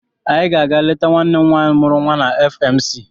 Anyị ga-aga leta nwanne m nwaanyị mụrụ nwa na FMC.